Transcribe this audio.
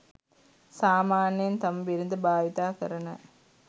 සාමාන්‍යයෙන් තම බිරිඳ භාවිත කරන